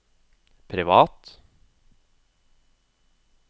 privat